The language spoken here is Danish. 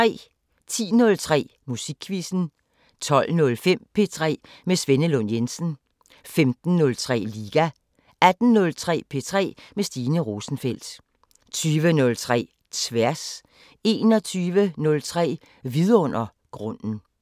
10:03: Musikquizzen 12:05: P3 med Svenne Lund Jensen 15:03: Liga 18:03: P3 med Stine Rosenfeldt 20:03: Tværs 21:03: Vidundergrunden